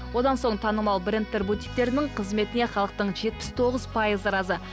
одан соң танымал брэндтер бутиктерінің қызметіне халықтың жетпіс тоғыз пайызы разы